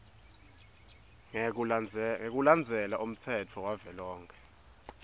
ngekulandzela umtsetfo wavelonkhe